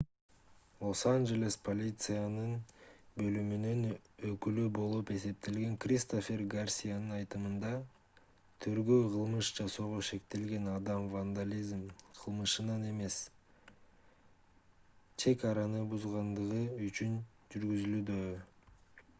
лос-анжелестин полиция бөлүмүнүн өкүлү болуп эсептелген кристофер гарсиянын айтымында тергөө кылмыш жасоого шектелген адам вандализм кылмышынан эмес чек араны бузгандыгы үчүн жүргүзүлүүдө